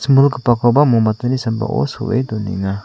imilgipakoba mombatini sambao so·e donenga.